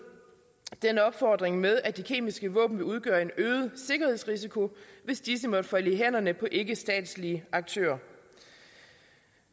denne opfordring med at de kemiske våben vil udgøre en øget sikkerhedsrisiko hvis disse måtte falde i hænderne på ikkestatslige aktører